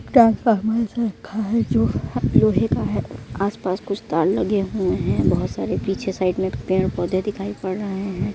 Transformer रखा है जो लोहे का है। आस पास कुछ तार लगे हुए है बहोत सारे पीछे साइड में पेड़ पौधे दिखाई पड़ रहे हैं।